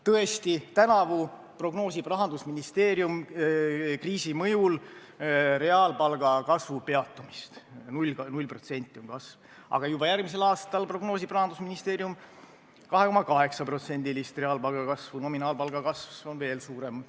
Tõesti, tänavu prognoosib Rahandusministeerium kriisi mõjul reaalpalga kasvu peatumist – kasv on null protsenti –, aga juba järgmisel aastal prognoosib Rahandusministeerium 2,8%-list reaalpalga kasvu, nominaalpalga kasv on veel suurem.